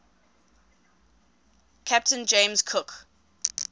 captain james cook